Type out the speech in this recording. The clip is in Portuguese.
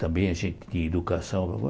Também a gente tinha educação.